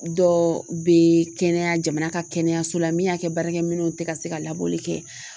Dɔ bɛ kɛnɛya jamana ka kɛnɛyaso la min y'a kɛ baarakɛminɛw tɛ ka se ka labɔli kɛ